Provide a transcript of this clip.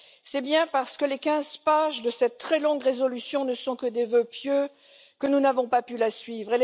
C'est justement parce que les quinze pages de cette très longue résolution ne sont que des vœux pieux que nous n'avons pas pu la suivre.